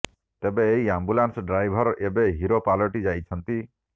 ତେବେ ଏହି ambulance driver ଏବେ ହିରୋ ପାଲଟି ଯାଇଛନ୍ତି